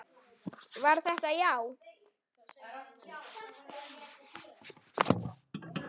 Var þetta já?